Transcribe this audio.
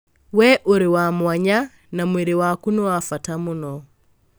Wee ũrĩ wa mwanya, na mwĩrĩ waku nĩ wa bata mũno.